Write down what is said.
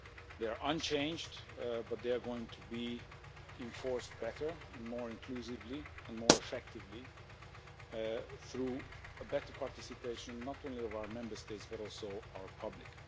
They are unchanged, but they are going to be enforced better, more inclusively and more effectively through the better participation not only of our Member States, but also of our public.